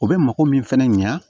O bɛ mako min fɛnɛ ɲɛ